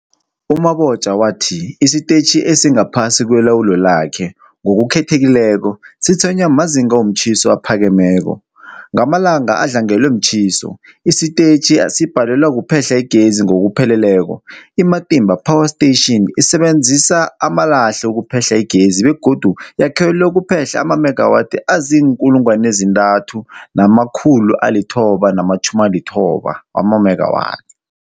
U-Mabotja wathi isitetjhi esingaphasi kwelawulo lakhe, ngokukhethekileko, sitshwenywa mazinga womtjhiso aphakemeko. Ngamalanga adlangelwe mtjhiso, isitetjhi sibhalelwa kuphehla igezi ngokupheleleko. I-Matimba Power Station isebenzisa amalahle ukuphehla igezi begodu yakhelwe ukuphehla amamegawathi azii-3990 amamegawathi.